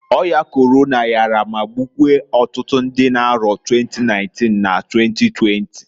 Oya Korona yara ma gbukwuo otutu ndị n'arọ 2019 na 2020.